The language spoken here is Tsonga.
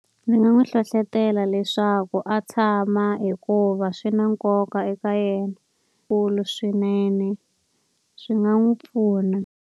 Ndzi nga n'wi hlohlotela leswaku a tshama hikuva swi na nkoka eka yena swinene, swi nga n'wi pfuna.